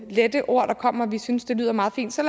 lette ord der kommer og vi synes det lyder meget fint så